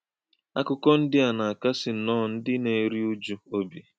Àkù́kọ̀ ndị́ à nà - àkàsí̄ nnọọ̄ ndị́ nà - èrù̄ ụ̀jù̄ ọ́bì.